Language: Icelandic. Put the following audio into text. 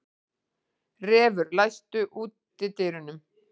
Refur, læstu útidyrunum.